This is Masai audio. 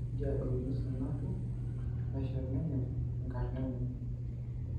Nejia ikuna Sanaku neshet ninye enkarna enye